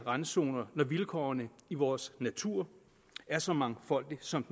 randzoner når vilkårene i vores natur er så mangfoldige som